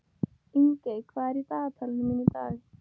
Ingey, hvað er í dagatalinu mínu í dag?